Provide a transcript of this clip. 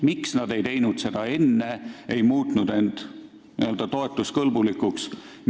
Miks nad ei teinud seda enne, ei muutnud end varem n-ö toetuskõlblikuks?